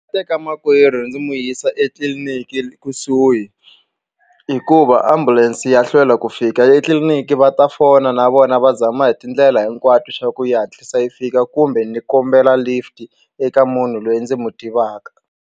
Teka makwerhu ndzi mu yisa etliliniki ekusuhi hikuva ambulense ya hlwela ku fika etliliniki va ta fona na vona va zama hi tindlela hinkwato swa ku yi hatlisa yi fika kumbe ni kombela lift eka munhu loyi ndzi mu tivaka.